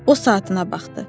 O saatına baxdı.